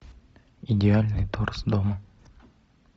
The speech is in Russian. идеальный торс дома